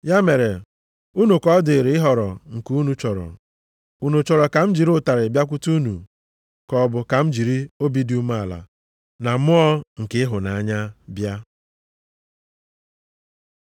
Ya mere, unu ka ọ dịrị ịhọrọ nke unu chọrọ. Unu chọrọ ka m jiri ụtarị bịakwute unu, ka ọ bụ ka m jiri obi dị umeala na mmụọ nke ịhụnanya bịa?